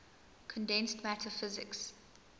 condensed matter physics